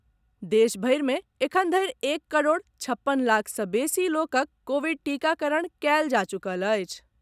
देश भरि मे एखनधरि एक करोड़ छप्पन लाख सॅ बेसी लोकक कोविड टीकाकरण कयल जा चुकल अछि।